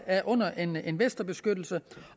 er under en investorbeskyttelse